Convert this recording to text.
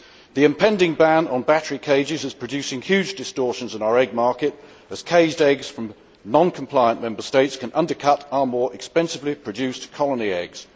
The impending ban on battery cages is producing huge distortions in our egg market, as caged eggs from non compliant Member States can undercut our more expensively produced colony eggs.